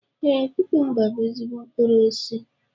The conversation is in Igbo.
Ee, kukumba bú ezigbo mkpụrụ osisi